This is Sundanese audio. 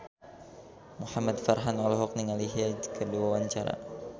Muhamad Farhan olohok ningali Hyde keur diwawancara